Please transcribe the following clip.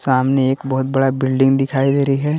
सामने एक बहुत बडा बिल्डिंग दिखाई दे रही है।